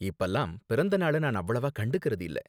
இப்பலாம் பிறந்தநாள நான் அவ்வளவா கண்டுக்கறது இல்ல.